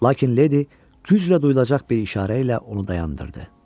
Lakin Lady güclə duyulacaq bir işarə ilə onu dayandırdı.